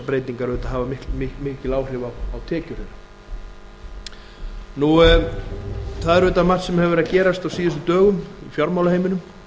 breytingar auðvitað hafa mikil áhrif á tekjur þeirra það er auðvitað margt sem hefur verið að gerast á síðustu dögum í fjármálaheiminum